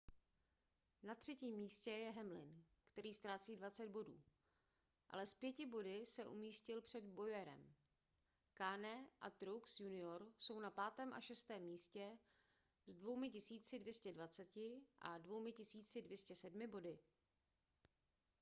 na třetím místě je hamlin který ztrácí 20 bodů ale s pěti body se umístil před bowyerem kahne a truex jr jsou na 5. a 6. místě s 2 220 a 2 207 body